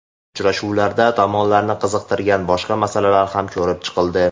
Uchrashuvlarda tomonlarni qiziqtirgan boshqa masalalar ham ko‘rib chiqildi.